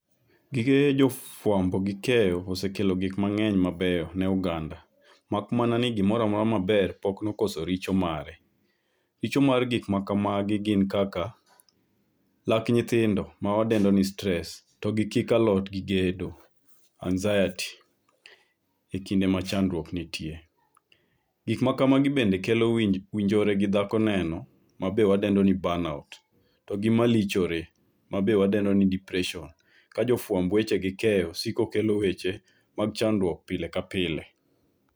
Gige jofuambo gi keyo osekelo gik mangeny mabeyo ne oganda mak mana ni gimoro amora maber pok nooso richo mare. Richo mar gik makamagi gin kaka lak nyithindo mawadendo ni stress to gi kik alote gi gedo ,anxiety ekinde ma chandruok nitie. Gik makamagi be kelo wii njore gi dhako neno ma wadendo ni burnout togi malochore mabe wadendo ni depression ka jofuambo gi keyo siko kelo weche mag chandruok pile ka pile.